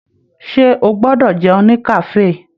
Ṣe o gbọdọ jẹun ní kafe?